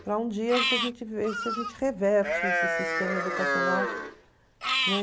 Para um dia, se a gente ver se a gente reverte esse sistema educacional, né?